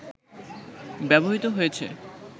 ব্যবহৃত হয়েছে